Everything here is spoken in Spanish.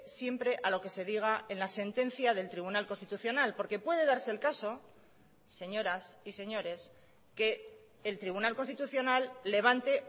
siempre a lo que se diga en la sentencia del tribunal constitucional porque puede darse el caso señoras y señores que el tribunal constitucional levante